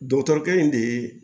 Dɔkitɛrikɛ in de ye